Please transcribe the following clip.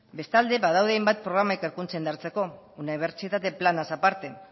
bestalde badaude hainbat programa ikerkuntza indartzeko unibertsitate planaz aparte